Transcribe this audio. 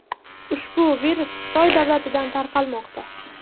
Ushbu virus Xitoy davlatidan tarqalmoqda.